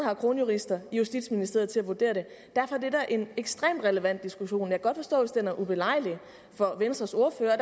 har kronjurister i justitsministeriet til at vurdere det derfor er en ekstremt relevant diskussion jeg kan godt forstå hvis den er ubelejlig for venstres ordfører og